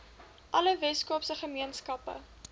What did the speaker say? alle weskaapse gemeenskappe